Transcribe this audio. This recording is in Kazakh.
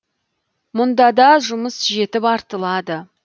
мұнда да жұмыс жетіп артылады